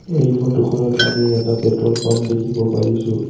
এই ফটো খনত আমি এটা পেট্ৰল পাম্প দেখিব পৰিছোঁ।